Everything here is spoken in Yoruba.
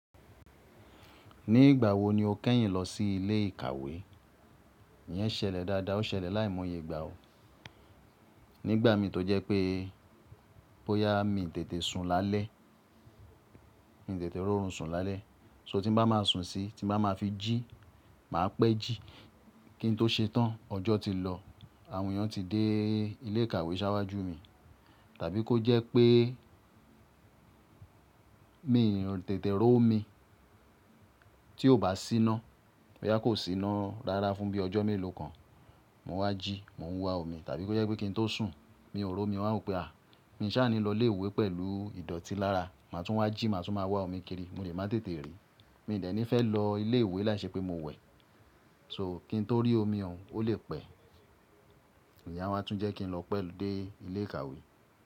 Ní ìgbà wo ni o kẹ́yìn lọ sí ilé ìkàwé? Iyẹn ṣẹlẹ̀ dáadáa, ó ṣẹlẹ̀ láìmọye ìgbà o. Nígbà mi tó jẹ́ pé bóyá mi n tètè sun lálẹ́, n tètè ro orun sun lálẹ́. So tí n bá má a sun síi, tí n bá má a fi jí, mà á pẹ́ jí kí n tó ṣe tán. Ọjọ́ ti lọ àwọn èèyàn ti dé ilé ìkàwé s'áwájú mi. Tàbí kó jẹ́ pé mi n tètè ro omi tí ò bá síná. Boyá kò síná rárá fún bí ọjọ́ mélòó kan. Mo n wá jí, mo n wá omi tàbí kó jẹ́ pé kí n tó sùn, mi ò ro omi, mo a wùn pé à mi sáà ní lọ ilé ìwé pẹ̀lú ìdọ̀tí lára. Mà á tún wá jí, mà á tún má wá omi kiri mo le má tètè rí. Mi ò dẹ́ni fẹ́ lọ ilé ìwé láìṣẹ pé mo wẹ̀. So kín tó rí omi òun ó lè pẹ́. Ìyen máa tún jẹ́ kí n lọ pẹ́ dé ilé ìkàwé.